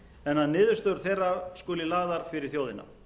en að niðurstöður þeirra skuli lagðar fyrir þjóðina